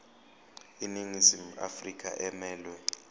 iningizimu afrika emelwe